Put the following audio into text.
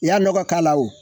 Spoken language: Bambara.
I y'a nɔgɔ k'a la o